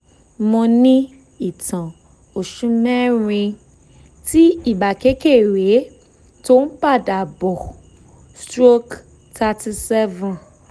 mo ní ìtàn oṣù merin ti ibà kékeré tó ń padà bọ̀ stroke thirty seven